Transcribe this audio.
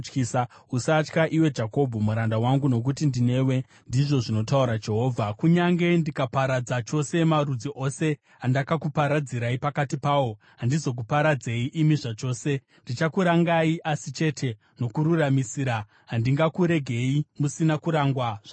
Usatya, iwe Jakobho muranda wangu, nokuti ndinewe,” ndizvo zvinotaura Jehovha. “Kunyange ndikaparadza chose marudzi ose andakakuparadzirai pakati pawo, handizokuparadzei imi zvachose. Ndichakurangai, asi chete nokururamisira; handingakuregei musina kurangwa zvachose.”